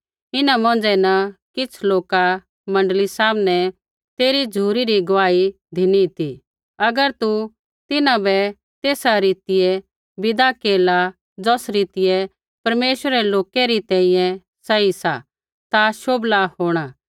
इन्हां मौंझ़ै न किछ़ लोका मण्डली सामनै तेरी झ़ुरी री गुआही धिनी ती अगर तू तिन्हां बै तेसा रीतिऐ विदा केरला ज़ौस रीतिऐ परमेश्वरै रै लोकै री तैंईंयैं सही सा ता शोभला होंणा